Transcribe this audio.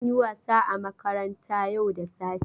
Kun yi wasa a makaranta yau da safe?